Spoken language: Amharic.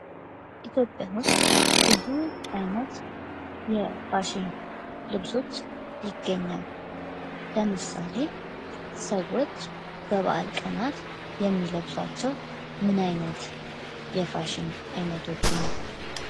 ኢትዮጵያ ውስጥ ብዙ አይነት የፋሽን ልብሶች ይገኛሉ ። ምሳሌ ሰዎች በበዓል ቀናት የሚለብሳቸው ምን አይነት የፋሽን አይነቶችን ነው ?